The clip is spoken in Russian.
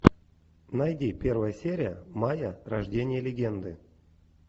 найди первая серия майя рождение легенды